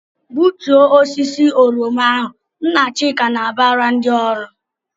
"Gbutuo osisi oroma ahụ!" Nna Chika na-abara ndị ọrụ.